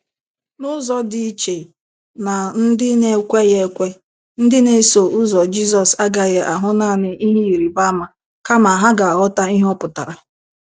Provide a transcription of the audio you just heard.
N'ụzọ dị iche na ndị na-ekweghị ekwe, ndị na-eso ụzọ Jizọs agaghị ahụ naanị ihe ịrịba ama kama ha ga-aghọta ihe ọ pụtara.